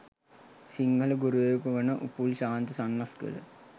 සිංහල ගුරුවරයකු වන උපුල් ශාන්ත සන්නස්ගල